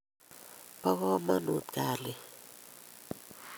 po komonut kalyet